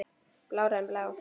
Blárri en blá.